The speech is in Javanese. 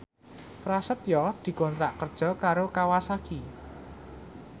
Prasetyo dikontrak kerja karo Kawasaki